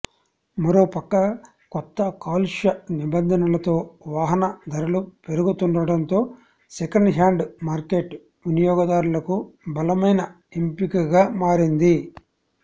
మరోపక్క కొత్త కాలుష్య నిబంధనలతో వాహన ధరలు పెరుగుతుండటంతో సెకండ్ హ్యాండ్ మార్కెట్ వినియోగదారులకు బలమైన ఎంపికగా మారింది